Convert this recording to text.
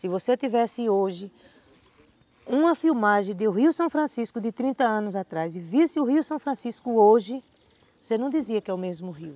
Se você tivesse hoje uma filmagem do Rio São Francisco de trinta anos atrás e visse o Rio São Francisco hoje, você não dizia que era o mesmo rio.